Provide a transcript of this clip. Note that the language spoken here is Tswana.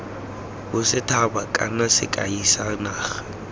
bosethaba kana sekai sa naga